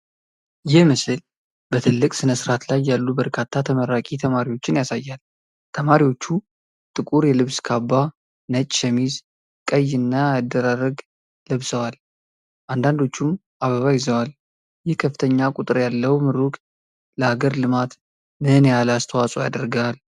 ይህ ምስል በትልቅ ስነስርዓት ላይ ያሉ በርካታ ተመራቂ ተማሪዎችን ያሳያል። ተማሪዎቹ ጥቁር የልብስ ካባ፣ ነጭ ሸሚዝ፣ ቀይ እ ና የአደራረግ ለብሰዋል፤ አንዳንዶቹም አበባ ይዘዋል። ይህ ከፍተኛ ቁጥር ያለው ምሩቅ ለሀገር ልማት ምን ያህል አስተዋጽኦ ያደርጋል?